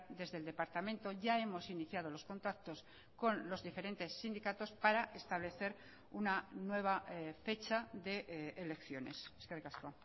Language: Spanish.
desde el departamento ya hemos iniciado los contactos con los diferentes sindicatos para establecer una nueva fecha de elecciones eskerrik asko